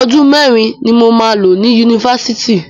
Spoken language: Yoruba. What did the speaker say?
Ọdún mẹ́rin ni mo máa lo ní Yunifásitì.